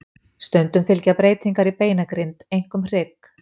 Stundum fylgja breytingar í beinagrind, einkum hrygg.